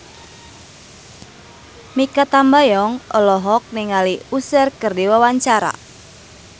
Mikha Tambayong olohok ningali Usher keur diwawancara